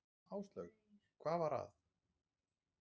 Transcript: Áslaug: Hvað var það?